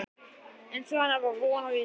Eins og hennar var von og vísa.